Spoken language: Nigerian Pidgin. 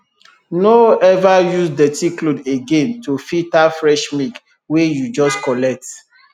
no ever use dirty cloth again to filter fresh milk wey you just collect